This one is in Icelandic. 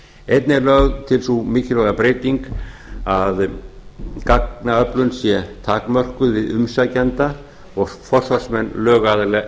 einnig verður lögð til sú mikilvæga breyting að gagnaöflun sé takmörkuð við umsækjenda og forsvarsmenn lögaðila